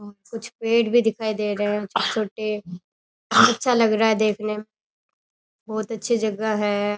कुछ पेड़ भी दिखाई दे रहे हैं छोटे अच्छा लग रहा है देखने में बहुत अच्छी जगह है।